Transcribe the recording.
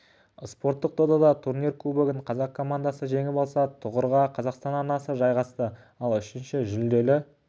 спорттық додада турнир кубогын қазақ командасы жеңіп алса тұғырға қазақстан арнасы жайғасты ал үшінші жүлделі